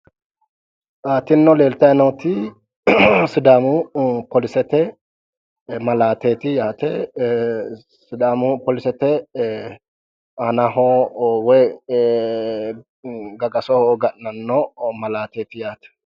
tinino leeltayi nooti sidaamu polisete malaateeti yaate ee sidaamu polisete aanaho woyi gagasoho ga'nanno malaateeti yaate.